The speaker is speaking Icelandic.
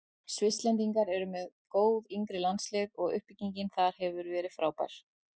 Svisslendingar eru með góð yngri landslið og uppbyggingin þar hefur verið frábær.